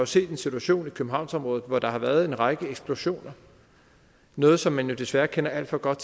set en situation i københavnsområdet hvor der har været en række eksplosioner noget som man jo desværre kender alt for godt